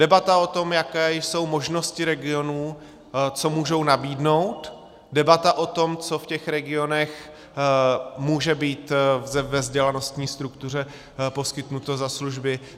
Debata o tom, jaké jsou možnosti regionů, co můžou nabídnout, debata o tom, co v těch regionech může být ve vzdělanostní struktuře poskytnuto za služby.